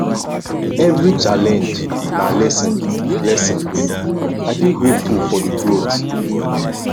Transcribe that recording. evri challenge na lesson lesson i dey grateful for di growth